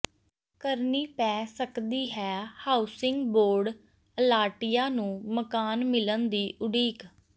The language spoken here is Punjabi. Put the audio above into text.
ਕਰਨੀ ਪੈ ਸਕਦੀ ਹੈ ਹਾਊਸਿੰਗ ਬੋਰਡ ਅਲਾਟੀਆਂ ਨੂੰ ਮਕਾਨ ਮਿਲਣ ਦੀ ਉਡੀਕ